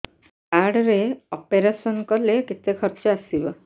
card ରେ operation କଲେ କେତେ ଖର୍ଚ ଆସିବ